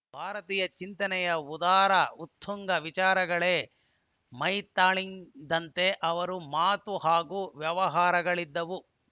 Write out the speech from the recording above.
ಭಾರತೀಯ ಚಿಂತನೆಯ ಉದಾರ ಉತ್ತುಂಗ ವಿಚಾರಗಳೇ ಮೈತಾಳಿದಂತೆ ಅವರ ಮಾತು ಹಾಗೂ ವ್ಯವಹಾರಗಳಿದ್ದವು